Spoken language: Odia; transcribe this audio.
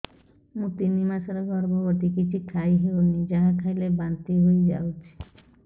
ମୁଁ ତିନି ମାସର ଗର୍ଭବତୀ କିଛି ଖାଇ ହେଉନି ଯାହା ଖାଇଲେ ବାନ୍ତି ହୋଇଯାଉଛି